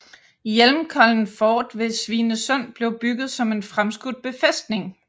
Hjelmkollen fort ved Svinesund blev bygget som en fremskudt befæstning